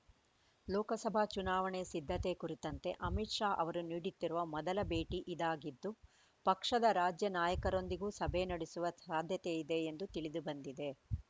ಲೋಕಸಭಾ ಚುನಾವಣೆ ಸಿದ್ಧತೆ ಕುರಿತಂತೆ ಅಮಿತ್‌ ಶಾ ಅವರು ನೀಡುತ್ತಿರುವ ಮೊದಲ ಭೇಟಿ ಇದಾಗಿದ್ದು ಪಕ್ಷದ ರಾಜ್ಯ ನಾಯಕರೊಂದಿಗೂ ಸಭೆ ನಡೆಸುವ ಸಾಧ್ಯತೆಯಿದೆ ಎಂದು ತಿಳಿದು ಬಂದಿದೆ